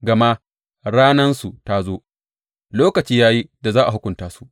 Gama ranansu ta zo, lokaci ya yi da za a hukunta su.